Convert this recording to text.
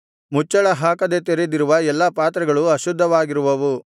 ಮುಚ್ಚಳ ಹಾಕದೆ ತೆರೆದಿರುವ ಎಲ್ಲಾ ಪಾತ್ರೆಗಳು ಅಶುದ್ಧವಾಗಿರುವವು